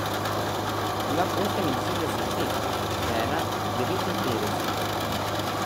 Imam oseminšestdeset let, žena devetinpetdeset.